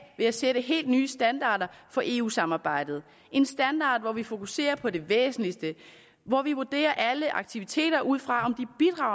ved at sætte helt nye standarder for eu samarbejdet en standard hvor vi fokuserer på det væsentligste hvor vi vurderer alle aktiviteter ud fra